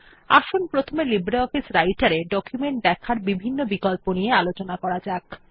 আসুন প্রথমে লিব্রিঅফিস রাইটের এ ডকুমেন্ট দেখার বিভিন্ন বিকল্প নিয়ে আলোচনা করা যাক